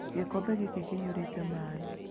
Gĩkombe gĩkĩ kĩiyũrĩte maĩ.